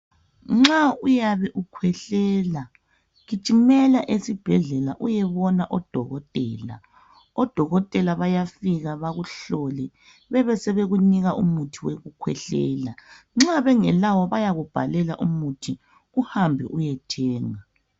Nxa uyabe ukhwehlela gijimele esibhedlela uyebona odokotela. Odokotela bayafika bakuhlole bebesebekunika umuthi wokukhwehlela. Nxa bengelawo bayakubhalela umuthi, uhambe eyethenga.